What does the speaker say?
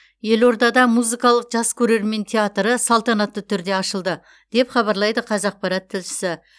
елордада музыкалық жас көрермен театры салтанатты түрде ашылды деп хабарлайды қазақпарат тілшісі